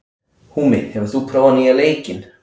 Húmi, hefur þú prófað nýja leikinn?